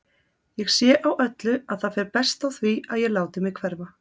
Ég sé á öllu að það fer best á því að ég láti mig hverfa.